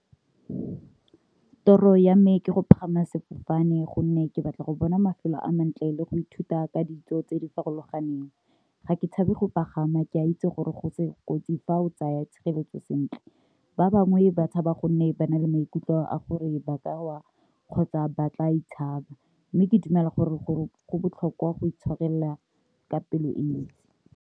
Toro ya me ke go pagama sefofane gonne ke batla go bona mafelo a mantle le go ithuta ka ditso tse di farologaneng, ga ke tshabe go pagama ke a itse gore go se kotsi fa o tsaya tshireletso sentle, ba bangwe ba tshaba gonne ba na le maikutlo a gore ba wa kgotsa ba tla mme ke dumela gore go go botlhokwa go itshwarela ka pelo e ntsi.